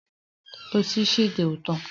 Sushi dị ụtọ